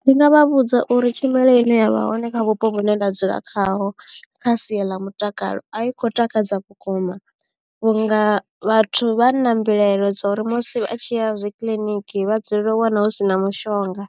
Ndi nga vha vhudza uri tshumelo ine ya vha hone kha vhupo vhune nda dzula khaho kha sia ḽa mutakalo a i khou takadza vhukuma vhunga vhathu vha na mbilaelo dza uri musi a tshi ya zwi kiḽiniki vha dzulela u wana hu si na mushonga